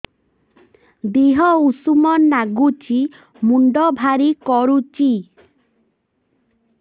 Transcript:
ଦିହ ଉଷୁମ ନାଗୁଚି ମୁଣ୍ଡ ଭାରି କରୁଚି